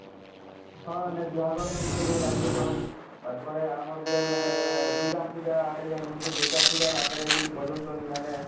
ହଁ ବିହା ଘର ମାନ କେ ବି ଡାକୁଛନ ତାର ପରେ ଆମର ଯେନ ଅଁ ଅଁ ଦୁର୍ଗା ପୂଜା ଆଡେ ଯେନ ହଉଛେ ଦୁର୍ଗା ପୂଜା ଆଗରେ ବି ବଜଉଛନ ଇମାନେ